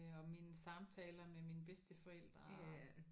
Og mine samtaler med med mine bedsteforældre og